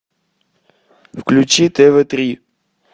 включи тв три